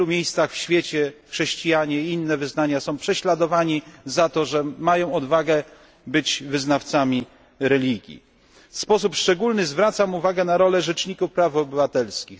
W wielu miejscach na świecie chrześcijanie i inne wyznania są prześladowani za to, że mają odwagę być wyznawcami religii. W sposób szczególny zwracam uwagę na rolę rzeczników praw obywatelskich.